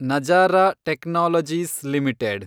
Nazara technologies limited